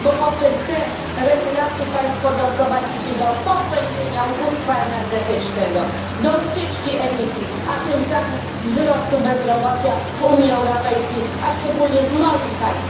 Bo poprzez te regulacje państwo doprowadzą do pogłębienia ubóstwa energetycznego, do ucieczki emisji, a tym samym do wzrostu bezrobocia w Unii Europejskiej, a szczególnie w moim państwie, w mojej ojczyźnie, w Polsce.